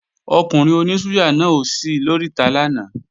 Ọkùnrin oní súyà náà ò sí lóríta lánàá